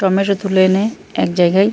tomato তুলে এনে এক জায়গায় --